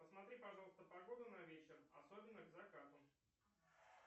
посмотри пожалуйста погоду на вечер особенно к закату